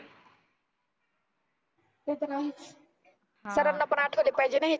ते तर आहेच. सरांना पण आठवले पाहीजेना हे